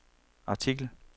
artikel